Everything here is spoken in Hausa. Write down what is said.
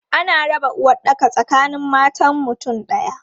Ana raba uwaɗɗaka tsakanin matan mutum ɗaya.